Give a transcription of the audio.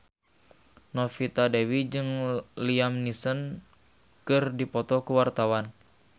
Novita Dewi jeung Liam Neeson keur dipoto ku wartawan